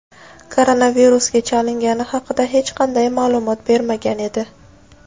koronavirusga chalingani haqida hech qanday ma’lumot bermagan edi.